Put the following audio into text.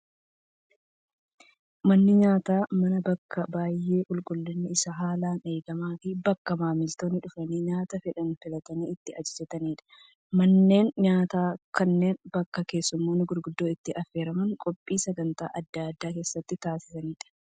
Manni nyaataa, mana bakka baayyee qulqulliinni isaa haalaan eegamaa fi bakka maamiltoonni dhufanii nyaata fedhan filatanii itti ajajatanidha. Manneen nyaataa kanneen bakka keessummoonni gurguddoon itti affeeramuun qophii sagantaa addaa addaa keessatti taasisanidha.